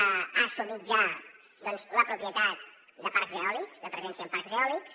ha assumit ja doncs la propietat de parcs eòlics de presència en parcs eòlics